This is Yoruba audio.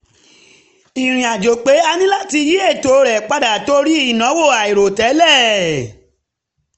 ìrìnàjò pẹ́ a ní láti yí ètò rẹ̀ padà torí ìnáwó àìròtẹ́lẹ̀